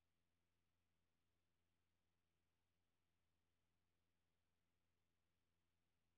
Det vil næppe få det danske samfund, eller nogen af de andre lande, der overholder reglerne, til at bryde sammen.